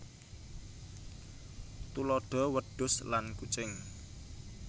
Tuladha wedhus lan kucing